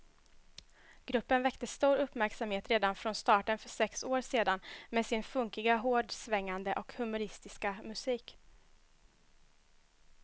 Gruppen väckte stor uppmärksamhet redan från starten för sex år sedan med sin funkiga, hårdsvängande och humoristiska musik.